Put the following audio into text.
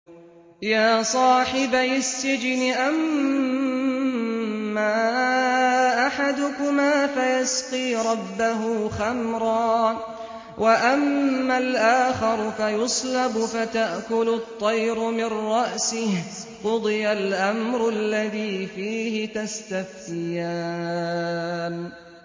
يَا صَاحِبَيِ السِّجْنِ أَمَّا أَحَدُكُمَا فَيَسْقِي رَبَّهُ خَمْرًا ۖ وَأَمَّا الْآخَرُ فَيُصْلَبُ فَتَأْكُلُ الطَّيْرُ مِن رَّأْسِهِ ۚ قُضِيَ الْأَمْرُ الَّذِي فِيهِ تَسْتَفْتِيَانِ